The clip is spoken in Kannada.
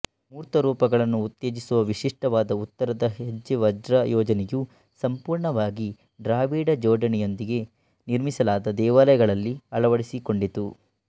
ಮೂರ್ತರೂಪಗಳನ್ನು ಉತ್ತೇಜಿಸುವ ವಿಶಿಷ್ಟವಾದ ಉತ್ತರದ ಹೆಜ್ಜೆವಜ್ರ ಯೋಜನೆಯು ಸಂಪೂರ್ಣವಾಗಿ ಡ್ರಾವಿಡಾ ಜೋಡಣೆಯೊಂದಿಗೆ ನಿರ್ಮಿಸಲಾದ ದೇವಾಲಯಗಳಲ್ಲಿ ಅಳವಡಿಸಿಕೊಂಡಿತು